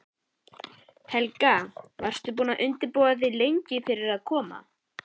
Helga: Varstu búin að undirbúa þig lengi fyrir að koma?